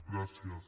gràcies